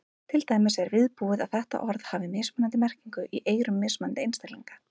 Til dæmis er viðbúið að þetta orð hafi mismunandi merkingu í eyrum mismunandi einstaklinga.